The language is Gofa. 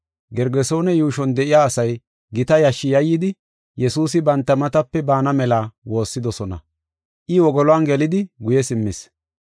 Gergesoone yuushon de7iya asay gita yashshi yayidi, Yesuusi banta matape baana mela woossidosona. I wogoluwan gelidi guye simmis.